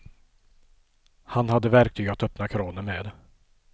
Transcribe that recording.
Han hade verktyg att öppna kranen med.